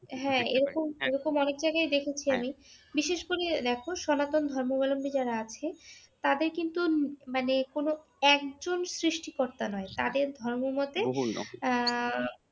হ্যাঁ এরকম এরকম অনেক জায়গায় দেখেছি আমি। বিশেষ করে দেখো সনাতন ধর্মাবল্বী যারা আছেন তাদের কিন্তু মানে কোন একজন সৃষ্টিকর্তা নয়। তাদের ধর্মমতে আহ